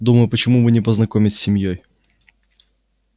думаю почему бы не познакомить с семьёй